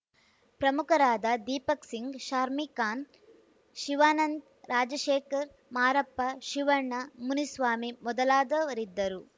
ಪ್ರಮುಖರಾದ ದೀಪಕ್‌ ಸಿಂಗ್‌ ಶಾರ್ಮಿ ಖಾನ್‌ ಶಿವಾನಂದ್‌ ರಾಜಶೇಖರ್‌ ಮಾರಪ್ಪ ಶಿವಣ್ಣ ಮುನಿಸ್ವಾಮಿ ಮೊದಲಾದವರಿದ್ದರು